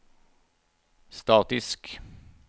statisk